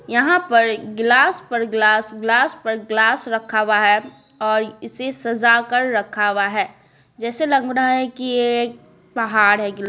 यहां पर गिलास पर ग्लास ग्लास पर ग्लास रखा हुआ है और इसे सजा कर रखा हुआ है जैसे लग रहा है कि यह एक पहाड़ है।